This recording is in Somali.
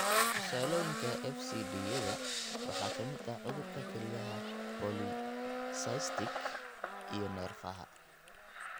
Tusaalooyinka FCD-yada waxaa ka mid ah cudurka kelyaha polycystic (PKD) iyo nerfaaahaa (NPHP).